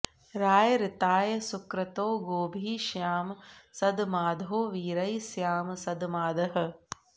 रा॒य ऋ॒ताय॑ सुक्रतो॒ गोभिः॑ ष्याम सध॒मादो॑ वी॒रैः स्या॑म सध॒मादः॑